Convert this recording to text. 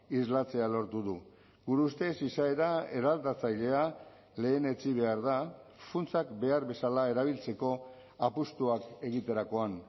islatzea lortu du gure ustez izaera eraldatzailea lehenetsi behar da funtsak behar bezala erabiltzeko apustuak egiterakoan